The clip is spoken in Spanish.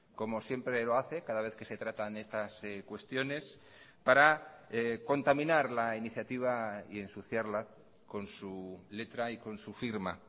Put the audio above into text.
como siempre lo hace cada vez que se tratan estas cuestiones para contaminar la iniciativa y ensuciarla con su letra y con su firma